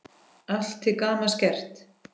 Allt til gamans gert.